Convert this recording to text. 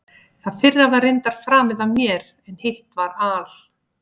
Það fyrra var reyndar framið af mér, en hitt var al